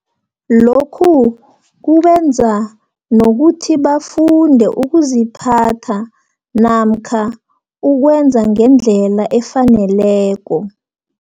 Lokhu kubenza, nokuthi bafunde ukuziphatha, namkha ukwenza ngendlela efaneleko.